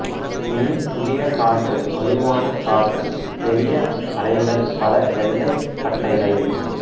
me புதிய காற்று வலுவான காற்று பெரிய அலைகள் பல வெள்ளைப் பட்டைகள்